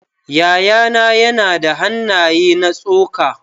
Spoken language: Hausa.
Yayana yana da hannaye na tsoka.